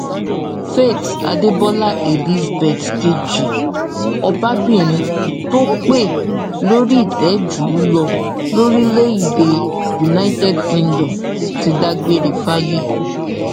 faith adébólà elizabeth kejì ọbabìnrin tó pẹ lórí ìtẹ jù lọ lórílẹèdè united kingdom ti dágbére fáyé